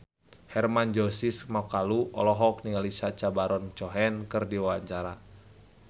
Hermann Josis Mokalu olohok ningali Sacha Baron Cohen keur diwawancara